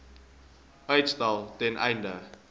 uitstel ten einde